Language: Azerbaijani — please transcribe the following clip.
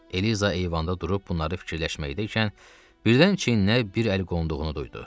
Eliza eyvanda durub bunları fikirləşməkdəykən birdən çiyninə bir əl qonduğunu duydu.